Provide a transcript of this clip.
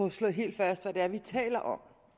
at slå helt fast hvad det er vi taler om